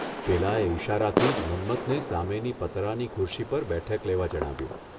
પેલાએ ઇશારાથી જ મન્મથને સામેની પતરાંની ખુરશી પર બેઠક લેવા જણાવ્યું.